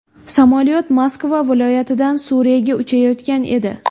Samolyot Moskva viloyatidan Suriyaga uchayotgan edi.